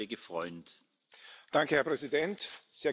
Herr Präsident, sehr geehrte Hohe Vertreterin!